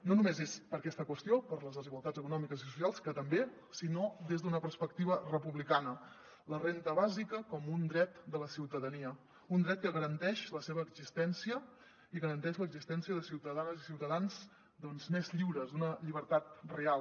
no només és per aquesta qüestió per les desigualtats econòmiques i socials que també sinó des d’una perspectiva republicana la renda bàsica com un dret de la ciutadania un dret que garanteix la seva existència i garanteix l’existència de ciutadanes i ciutadans doncs més lliures una llibertat real